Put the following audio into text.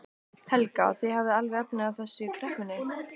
Helga: Og þið hafið alveg efni á þessu í kreppunni?